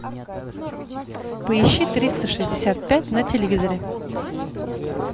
поищи триста шестьдесят пять на телевизоре